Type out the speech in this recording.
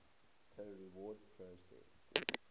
peer review process